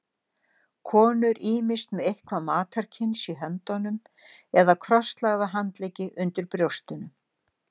Konur ýmist með eitthvað matarkyns í höndunum eða krosslagða handleggi undir brjóstunum.